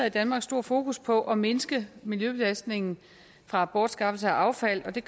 i danmark stort fokus på at mindske miljøbelastningen fra bortskaffelse af affald og det